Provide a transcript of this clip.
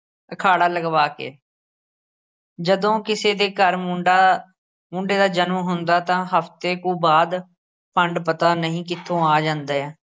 ਅਖਾੜਾ ਲਗਵਾ ਕੇ ਜਦੋਂ ਕਿਸੇ ਦੇ ਘਰ ਮੁੰਡਾ ਮੁੰਡੇ ਦਾ ਜਨਮ ਹੁੰਦਾ ਤਾਂ ਹਫਤੇ ਕੁ ਬਾਅਦ ਭੰਡ ਪਤਾ ਨਹੀ ਕਿੱਥੋਂ ਆ ਜਾਂਦੇ ਏ।